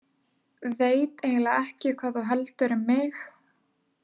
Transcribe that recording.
Veit eiginlega ekki hvað þú heldur um mig.